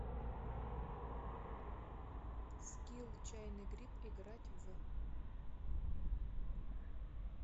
скилл чайный гриб играть в